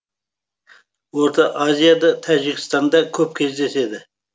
орта азияда тәжікстанда көп кездеседі